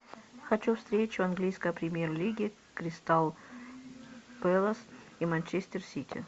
хочу встречу английской премьер лиги кристал пэлас и манчестер сити